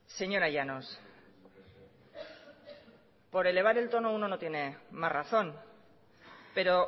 señora llanos por elevar el tono uno no tiene más razón pero